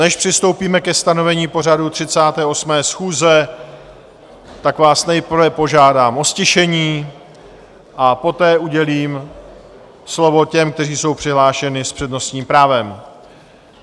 Než přistoupíme ke stanovení pořadu 38. schůze, tak vás nejprve požádám o ztišení, a poté udělím slovo těm, kteří jsou přihlášeni s přednostním právem.